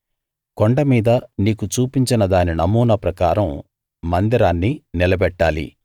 కొండ మీద నీకు చూపించిన దాని నమూనా ప్రకారం మందిరాన్ని నిలబెట్టాలి